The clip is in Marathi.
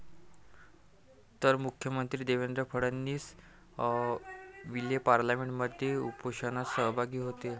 तर मुख्यमंत्री देवेंद्र फडणवीस विलेपार्लेमध्ये उपोषणात सहभागी होतील.